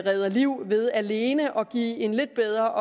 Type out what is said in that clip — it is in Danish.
redder liv ved alene at give en lidt bedre